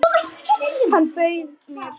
Hann bauð mér!